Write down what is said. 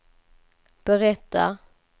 berättar